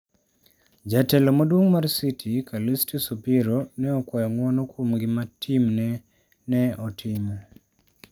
Jatelo maduong mar City, Calistus Obiero, ne okwayo ng'wono kuom gima timne ne otimo.